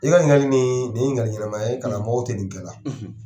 I ɲininkali nin ye ɲininkali ɲɛnama ye karamɔgɔw tɛ nin kɛ la.